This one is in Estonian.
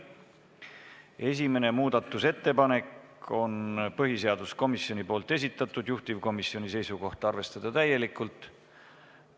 Esimene muudatusettepanek on põhiseaduskomisjoni esitatud, juhtivkomisjoni seisukoht: arvestada täielikult.